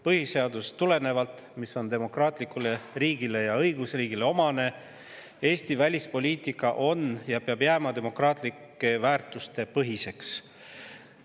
Põhiseadusest tulenevalt, nagu on demokraatlikule riigile ja õigusriigile omane, peab Eesti välispoliitika jääma demokraatlike väärtuste põhiseks.